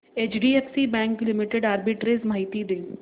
HDFC bank limited arbitrage माहिती दे